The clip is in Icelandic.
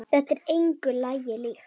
Þetta er engu lagi líkt.